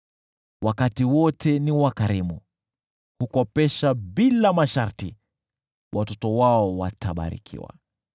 Wakati wote ni wakarimu na hukopesha bila masharti. Watoto wao watabarikiwa.